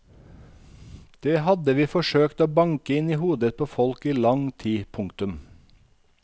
Det hadde vi forsøkt å banke inn i hodet på folk i lang tid. punktum